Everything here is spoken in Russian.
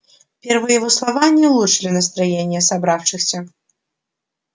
первые его слова не улучшили настроения собравшихся